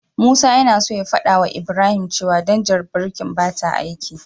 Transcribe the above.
Musa yana so ya fadawa Ibrahim cewa danjar birkin bata aiki.